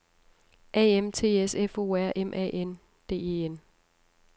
A M T S F O R M A N D E N